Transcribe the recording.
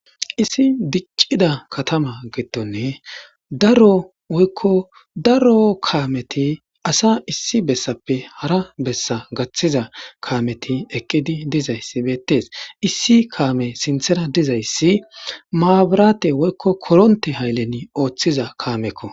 Issi diccida katama gettonne daro okko daro kaameti asa issi bessappe hara bessa gaththiza kaameti eqqidi dizayssi beettes issi kaame sinthera dizayssi maaburaate woykko koronte haylleni ooththiza kaamekko.